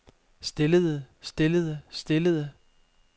stillede stillede stillede